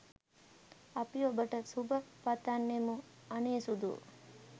අපි ඔබට සුබ පතන්නෙමු අනේ සුදූ.